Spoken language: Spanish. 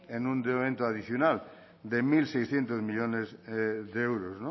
en un endeudamiento adicional de mil seiscientos millónes de euros